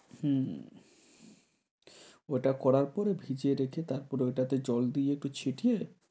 হুম ওটা করার পরে ভিজিয়ে রেখে তারপর ওটাতে জল দিয়ে একটু ছিটিয়ে